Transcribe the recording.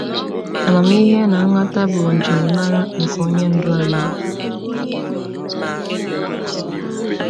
Amamihe na nghọta bụ njirimara nke Onye Ndu anyị.